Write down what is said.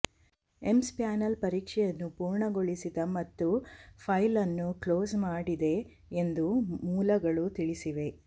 AIIMS panel ಪರೀಕ್ಷೆಯನ್ನು ಪೂರ್ಣಗೊಳಿಸಿದೆ ಮತ್ತು ಫೈಲ್ ಅನ್ನು ಕ್ಲೋಸ್ ಮಾಡಿದೆ ಎಂದು ಮೂಲಗಳು ತಿಳಿಸಿವೆ